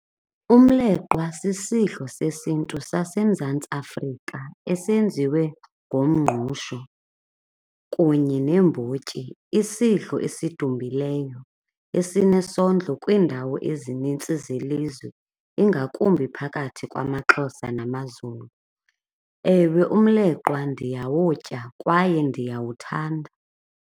Umleqwa sisidlo sesiNtu saseMzantsi Afrika esenziwe ngomngqusho kunye neembotyi. Isidlo esidumileyo esinesondlo kwiindawo ezinintsi zelizwe ingakumbi phakathi kwamaXhosa namaZulu. Ewe, umleqwa ndiyawutya kwaye ndiyawuthanda.